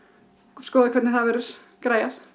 skoða hvernig það verður græjað